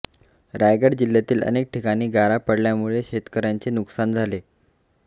रायगड जिल्ह्यातही अनेक ठिकाणी गारा पडल्यामुळे शेतकर्यांचे नुकसान झाले